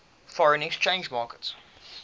foreign exchange market